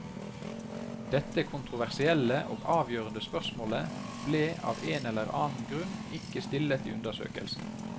Dette kontroversielle og avgjørende spørsmålet ble av en eller annen grunn ikke stillet i undersøkelsen.